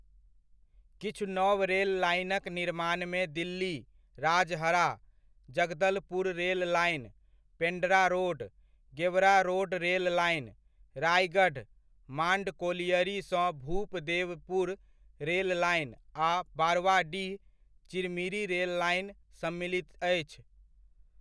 किछु नव रेल लाइनक निर्माणमे Delhi, Rajhara, Jagdalpur rail line, Pendra road, Gevra road rail line, Raigarh, Mand colliery सँ भूपदेवपुर रेल लाइन, आ बरवाडीह, चिरमिरी रेल लाइन सम्मिलित अछि।